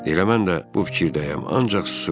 Elə mən də bu fikirdəyəm, ancaq susuram.